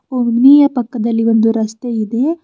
Omni ಯ ಪಕ್ಕದಲ್ಲಿ ಒಂದು ರಸ್ತೆ ಇದೆ.